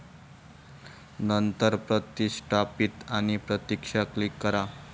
नंतर प्रतिष्ठापीत आणि प्रतीक्षा क्लिक करा.